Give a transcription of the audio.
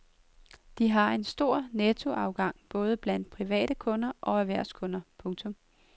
De har haft en stor nettoafgang både blandt private kunder og erhvervskunder. punktum